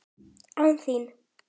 ÁN ÞÍN!?